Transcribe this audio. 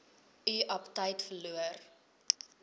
u aptyt verloor